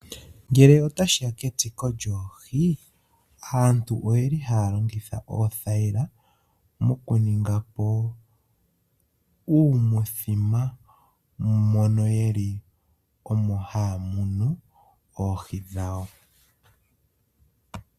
Ngele otashi ya kemuno lyoohi, aantu ohaya longitha oothayila mokuninga uuthima moka omo haya munine oohi dhawo.